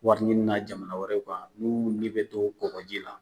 Wari ɲini na jamana wɛrɛ kan n'u ni bɛ to kɔkɔji la